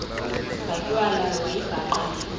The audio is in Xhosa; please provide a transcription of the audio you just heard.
zatywala wayibhaqa le